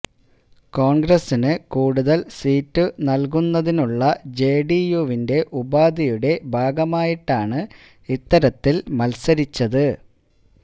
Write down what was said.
കോൺഗ്രസിനു കൂടുതൽ സീറ്റു നൽകുന്നതിനുള്ള ജെഡിയുവിന്റെ ഉപാധിയുടെ ഭാഗമായിട്ടാണ് ഇത്തരത്തിൽ മൽസരിച്ചത്